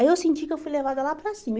Aí eu senti que fui levada lá para cima.